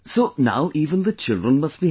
So now even the children must be happy